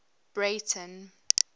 breyten